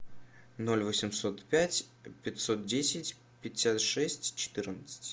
ноль восемьсот пять пятьсот десять пятьдесят шесть четырнадцать